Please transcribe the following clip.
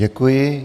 Děkuji.